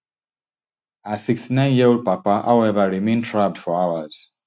her sixty-nineyearold papa however remain trapped for hours